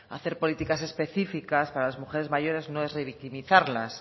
hacer políticas específicas para las mujeres mayores no es revictimizarlas